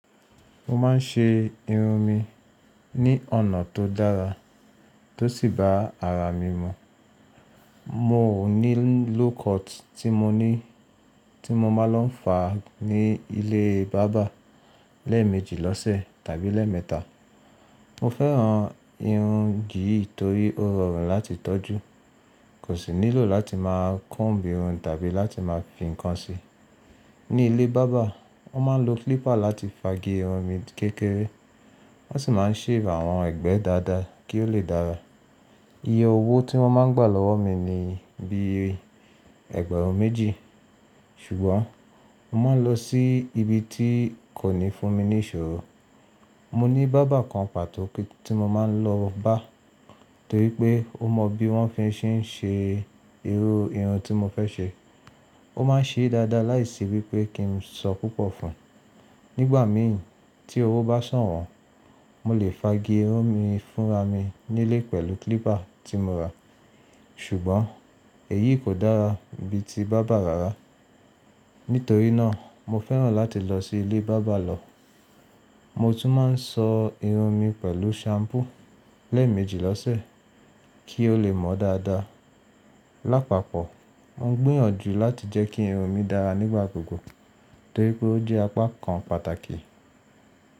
Mo ma ń ṣe irun mi ní ọ̀nà tó dára tó sì bá ara mi mu. Mo ní low cut tí mo ní tí mo ma lo ń fa ní ilé barber lé méjì lọ́ṣẹ̀ tàbí lé mẹ́ta. Mo fẹ́ràn irun yì nítorí ó rọrùn láti tọ́jú, kò sí nílò láti ma kombi irun tàbí láti ma fi kan sí. Ní ilé barber, wọ́n ma lo clipper láti fagi irun mi kékeré wọ́n sì ma shave àwọn ẹgbẹ́ dada kí ó lè dára. Iye owó tí wọ́n ma gba lọ́wọ́ mi ní bí ẹ̀ẹ́gbàrùn méjì, ṣùgbọ́n mo ma lọ sí ibi tí kò ní fún mi ní ìṣòro. Mo ní barber kan pàtó tí mo ma lọ bá torípé ó mọ bí wọ́n fi ṣe ń ṣe irú irun tí mo fẹ́ ṣe. Ó ma ń ṣe dada láìsí wípé kí n sọ púpọ̀ fún. Nígbà mìín tí owó bá san wọ́n, mo lè fagi irun mi fúnra mi nílé pẹ̀lú clipper tí mo rà ṣùgbọ́n èyí kò dára bí ti baba rárá. Nítorí náà mo fẹ́ràn láti lọ sí ilé barber lọ. Mo tún ma ń sọ irun mi pẹ̀lú shampoo lẹ méjì lọ̀sẹ̀ kí ó lè mọ́ dada. Lápapọ̀, mo gbìyànjú láti jẹ́ kí irun mi dára nígbàgbogbo nítorí pé ó jẹ́ apákan pàtàkì.